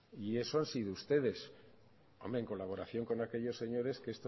y eso han sido ustedes hombre en colaboración con aquellos señores que